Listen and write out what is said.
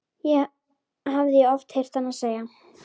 hafði ég oft heyrt hana segja.